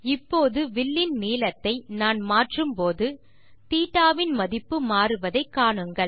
இப்போது வில்லின் நீளத்தை நான் மாற்றும்போது θ இன் மதிப்பு மாறுவதை காணுங்கள்